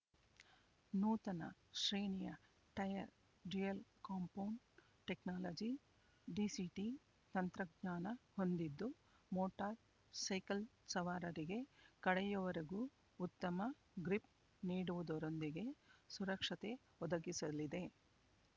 ನೂತನ ಶ್ರೇಣಿಯ tyre dual compound technology DCT ತಂತ್ರಜ್ಞಾನ ಹೊಂದಿದ್ದು ಮೋಟಾರ್ ಸೈಕಲ್ ಸವಾರರಿಗೆ ಕಡೆಯವರೆಗೂ ಉತ್ತಮ ಗ್ರಿಪ್ ನೀಡುವುದರೊಂದಿಗೆ ಸುರಕ್ಷತೆ ಒದಗಿಸಲಿದೆ